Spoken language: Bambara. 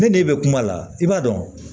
Ne n'e bɛ kuma la i b'a dɔn